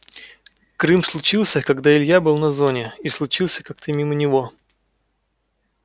крым случился когда илья был на зоне и случился как-то мимо него